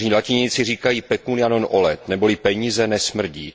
Staří latiníci říkají pecunia non olet neboli peníze nesmrdí